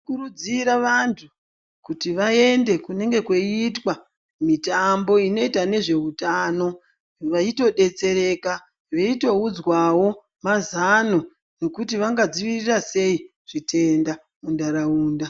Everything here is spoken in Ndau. Tinokurudzira vantu kuti vaende kunenge kweitwa mitambo inoita nezveutano veitodetsereka veitoudzwawo mazano ekuti vangadzivirira sei zvitenda muntaraunda